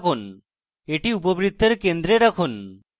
এটি উপবৃত্তের centre রাখুন